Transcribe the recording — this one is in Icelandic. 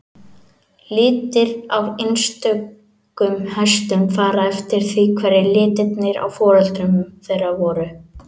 Litir á einstökum hestum fara eftir því hverjir litirnir á foreldrum þeirra voru.